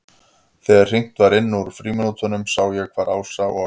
Þegar hringt var inn úr frímínútunum sá ég hvar Ása og